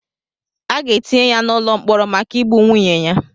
A ga-etinye ya n'ụlọ mkpọrọ maka igbu nwunye ya.